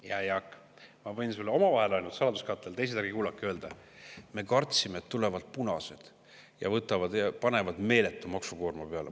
Hea Jaak, ma võin sulle omavahel saladuskatte all – teised, ärge kuulake – öelda: me kartsime, et tulevad punased ja panevad meeletu maksukoorma peale.